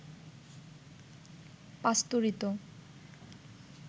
পাস্তুরিত